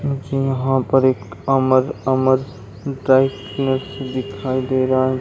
यहाँ पर एक अमर अमर दिखाईं दे रहा है।